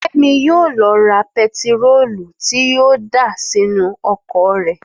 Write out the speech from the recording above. Fẹ́mi yóò lo ra pẹtiróòlù tí yóò dà sínú ọkọ̀ rẹ̀